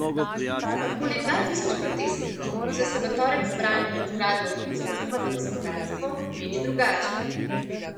Okoli dva tisoč protestnikov, ki so se v torek zbrali pred zgradbo ministrstva za gospodarstvo, meni drugače.